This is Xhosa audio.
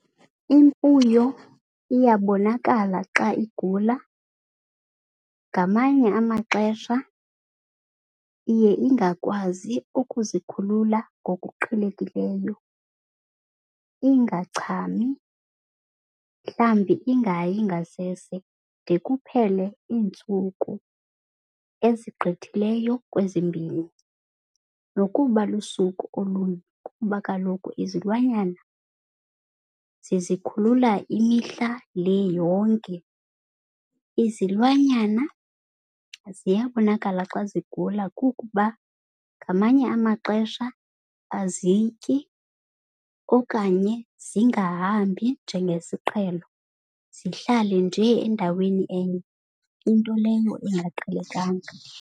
Imfuyo iyabonakala xa igula. Ngamanye amaxesha iye ingakwazi ukuzikhulula ngokuqhelekileyo, ingachami, mhlawumbi ingayi ngasese de kuphele iintsuku ezigqithileyo kwezimbini, nokuba lusuku olunye kuba kaloku izilwanyana zizikhulula imihla le yonke. Izilwanyana ziyabonakala xa zigula kukuba ngamanye amaxesha azityi okanye zingahambi njengesiqhelo, zihlale njee endaweni enye into leyo engaqhelekanga.